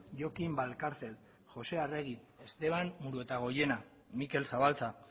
jokin valcárcel joxe arregi esteban muruetagoiena mikel zabalza